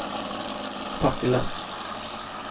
Partille